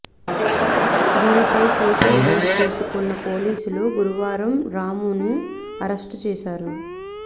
దీనిపై కేసు నమోదు చేసుకున్న పోలీసులు గురువారం రామును అరెస్ట్ చేశారు